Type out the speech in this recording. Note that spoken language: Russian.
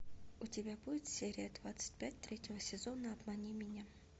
у тебя будет серия двадцать пять третьего сезона обмани меня